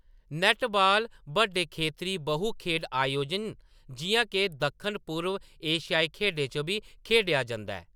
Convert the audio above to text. नैट्टबाल बड्डे खेतरी बहु खेढ आयोजन जिʼयां के दक्खन पूर्व एशियाई खेढें च बी खेढेआ जंदा ऐ।